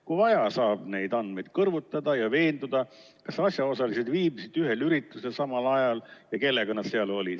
Kui vaja, saab neid andmeid kõrvutada ja veenduda, kas asjaosalised viibisid ühel üritusel samal ajal ja kellega nad seal olid.